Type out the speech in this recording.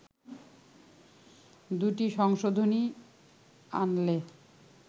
দু’টি সংশোধনী আনলে